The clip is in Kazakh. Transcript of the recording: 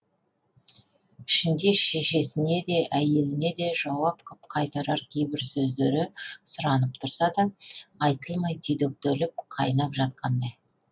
ішінде шешесіне де әйеліне де жауап қып қайтарар кейбір сөздері сұранып тұрса да айтылмай түйдектеліп қайнап жатқандай